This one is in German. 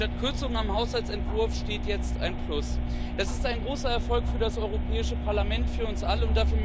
Statt Kürzungen am Haushaltsentwurf steht jetzt ein Plus. Das ist ein großer Erfolg für das Europäische Parlament, für uns alle.